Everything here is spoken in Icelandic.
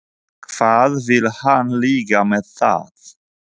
Hvað vill hann líka með það?